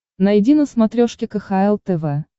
найди на смотрешке кхл тв